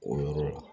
O yɔrɔ la